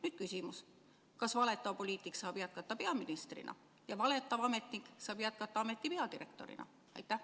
Nüüd küsimus: kas valetav poliitik saab jätkata peaministrina ja valetav ametnik saab jätkata ameti peadirektorina?